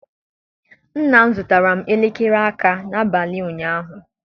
Nna m zụtara m elekere aka n'abalị ụnyaahụ